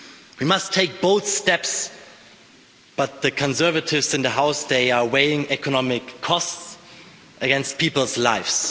We must take bold steps, but the conservatives in the House are weighing economic costs against people's lives.